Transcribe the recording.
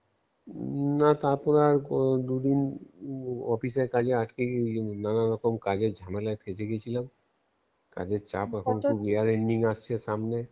না, তারপর আর ও~ দুদিন অফিস এর কাজে আটকে গেছি ঐজন্যে নানরকম কাজের ঝামেলায় ফেসে গেছিলাম কাজের চাপ এখন year ending আসছে সামনে.